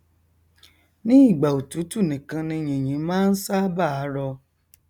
ní ìgbà òtútù nìkan ni yìnyín máa n ṣábàá rọ